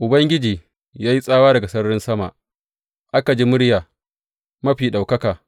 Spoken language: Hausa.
Ubangiji ya yi tsawa daga sararin sama; aka ji muryar Mafi Ɗaukaka.